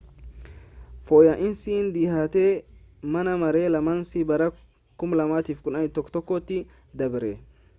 fooyya'iinsi dhihaate mana maree lamaanin bara 2011 tti dabre